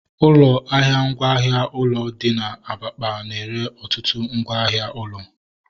Ụlọ ahịa ngwa ahịa ụlọ dị na Abakpa na-ere ọtụtụ ngwa ahịa ụlọ